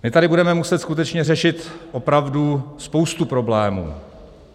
My tady budeme muset skutečně řešit opravdu spoustu problémů.